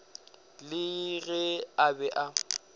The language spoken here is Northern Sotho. le ge a be a